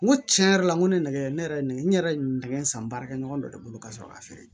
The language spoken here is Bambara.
N ko tiɲɛ yɛrɛ la n ko ne nɛgɛ ne yɛrɛ nɛgɛ san baarakɛ ɲɔgɔn dɔ de bolo ka sɔrɔ k'a feere